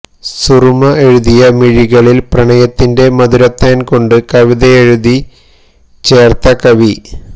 സുറുമ എഴുതിയ മിഴികളില് പ്രണയത്തിന്റെ മധുരത്തേന് കൊണ്ട് കവിതയെഴുതി ചേര്ത്ത കവി